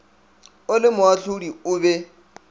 o le moahlodi o be